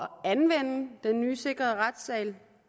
anvende den nye sikrede retssal